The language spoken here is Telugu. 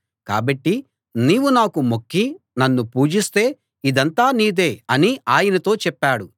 కాబట్టి నీవు నాకు మొక్కి నన్ను పూజిస్తే ఇదంతా నీదే అని ఆయనతో చెప్పాడు